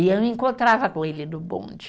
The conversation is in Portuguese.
E eu me encontrava com ele no bonde.